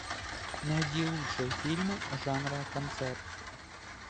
найди лучшие фильмы жанра концерт